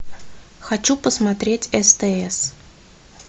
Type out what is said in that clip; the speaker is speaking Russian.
хочу посмотреть стс